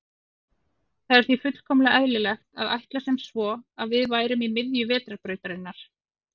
Það var því fullkomlega eðlilegt að ætla sem svo að við værum í miðju Vetrarbrautarinnar.